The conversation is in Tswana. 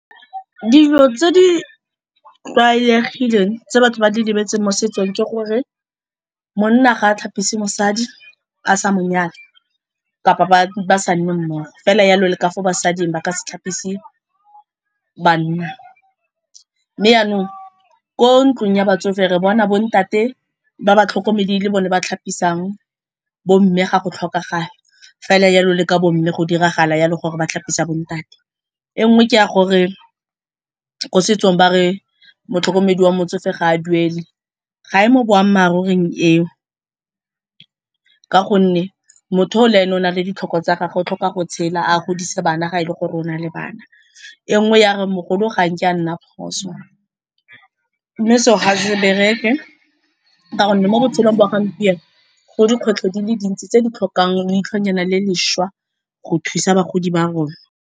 Dilo tse di tlwaelegileng tse batho ba di lebetseng mo setsong ke gore monna ga a tlhapise mosadi a sa mo nyala kapa ba sa nne mmogo fela jalo le ka fo basading ba ka se tlhapise banna. Mme jaanong ko ntlong ya batsofe re bona bontate ba batlhokomedi e le bone ba tlhapisang bomme ga go tlhokagala, fela jalo le ka bomme go diragala jalo gore ba tlhapisa bontate. E nngwe ke a gore ko setsong ba re motlhokomedi wa motsofe ga a duele, ga e mo boammaaruring eo ka gonne motho o le ene o na le ditlhoko tsa gagwe o tlhoka go tshela a godise bana ga e le gore o na le bana. E nngwe ya re mogolo ga nke a nna phoso mme seo ga se bereke ka gonne mo botshelong ba gompieno go dikgwetlho di le dintsi tse di tlhokang leitlhonyana le lešwa go thusa bagodi ba rona.